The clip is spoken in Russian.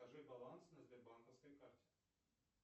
покажи баланс на сбербанковской карте